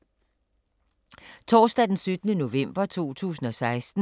Torsdag d. 17. november 2016